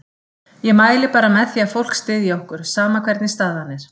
Ég mæli bara með því að fólk styðji okkur, sama hvernig staðan er.